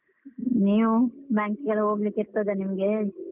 ನೀವು, bank ಗೆಲ್ಲ ಹೋಗ್ಲಿಕ್ಕಿರ್ತದ ನಿಮ್ಗೆ?